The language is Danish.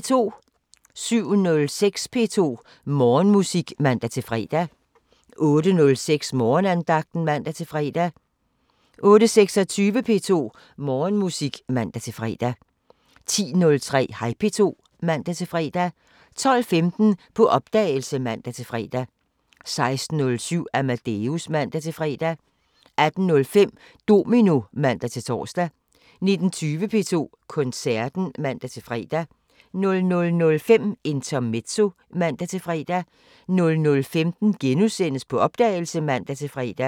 07:06: P2 Morgenmusik (man-fre) 08:06: Morgenandagten (man-fre) 08:26: P2 Morgenmusik (man-fre) 10:03: Hej P2 (man-fre) 12:15: På opdagelse (man-fre) 16:07: Amadeus (man-fre) 18:05: Domino (man-tor) 19:20: P2 Koncerten (man-fre) 00:05: Intermezzo (man-fre) 00:15: På opdagelse *(man-fre)